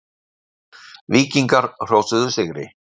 Víkingar hrósuðu sigri